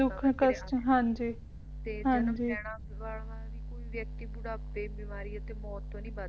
ਕੋਈ ਵਿਅਕਤੀ ਬੁਢਾਪੇ ਬਿਮਾਰੀ ਅਤੇ ਮੌਤ ਤੋਂ ਨਹੀਂ ਬਚ